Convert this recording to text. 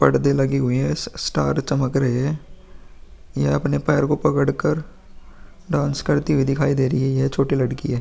पर्दे लगी हुई है | स-स्टार चमक रहे हैं | ये अपने पैर को पकड़ कर डांस करती हुई दिखाई दे रही है | ये छोटी लड़की है |